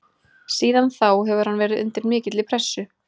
Síðan þá hefur hann verið undir mikilli pressu.